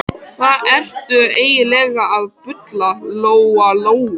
Hvað ertu eiginlega að bulla, Lóa-Lóa?